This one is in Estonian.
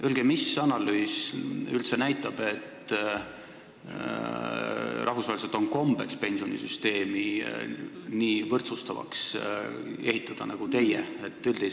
Öelge, mis analüüs ikkagi näitab, et rahvusvaheliselt on kombeks pensionisüsteemi nii võrdsustavaks ehitada, nagu teie soovite!